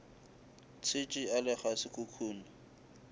tshetše a le ga sekhukhune